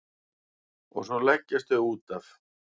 Og svo leggjast þau útaf.